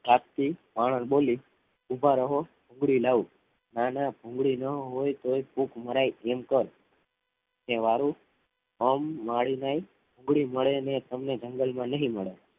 જાતથી બાવન બોલી ઊભા રહો ભૂંગળી લાવું. ના ના ભૂંગળી ના હોય તો એ ફૂંક મરાય એમ કર કે સારું કામવાળી નહીં ભૂંગળી મળે અને તમને જંગલમાં નહીં મળે